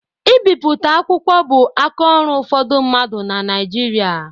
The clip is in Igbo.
Ibipụta akwụkwọ bu aka ọrụ ụfọdụ mmadụ na Naịjirịa.